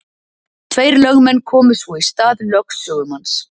Tveir lögmenn komu svo í stað lögsögumanns.